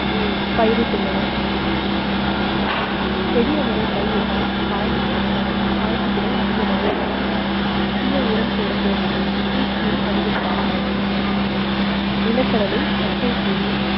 பயிரிட்டுள்ளனர் செடி அவரை பயிர் இட்டால் காய்ப்புத்தால் காய்ப்பு திறன் அதிகமாக இருக்கும். அதிக உரம் போட தேவையில்லை. பூச்சியும் அதிகம் தாக்காது. நிலக்கடலை, தக்கைப்பூண்டு